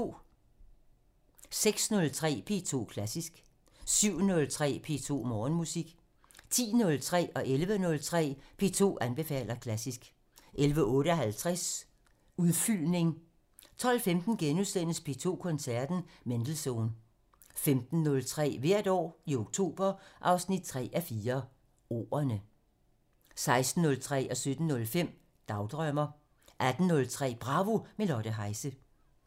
06:03: P2 Klassisk 07:03: P2 Morgenmusik 10:03: P2 anbefaler klassisk 11:03: P2 anbefaler klassisk 11:58: Udfyldning 12:15: P2 Koncerten – Mendelssohn (Afs. 224)* 15:03: Hvert år i oktober 3:4 - Ordene 16:03: Dagdrømmer 17:05: Dagdrømmer 18:03: Bravo - med Lotte Heise